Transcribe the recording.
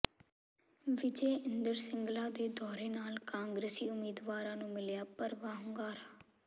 ਵਿਜੈਇੰਦਰ ਸਿੰਗਲਾ ਦੇ ਦੌਰੇ ਨਾਲ ਕਾਂਗਰਸੀ ਉਮੀਦਵਾਰਾਂ ਨੂੰ ਮਿਲਿਆ ਭਰਵਾਂ ਹੁੰਗਾਰਾ